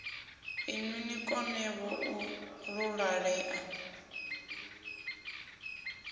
inwi ni konevho u ṱuṱulea